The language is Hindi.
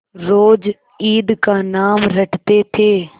रोज ईद का नाम रटते थे